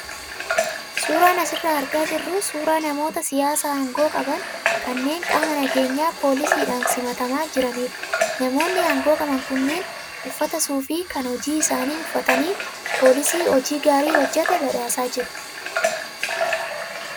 Suuraan asirraa argaa jirru suuraa namoota siyaasaa aangoo qaban kanneen qaama nageenyaa poolisiidhaan simatamaa jiranidha. Namoonni aangoo qaban kunneen uffata suufii kan hojii isaanii uffatanii poolisii hojii gaarii hojjate badhaasaa jiru.